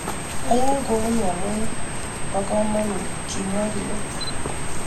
"Ayae kouni ama amu bo kamanut," kimwa Rio."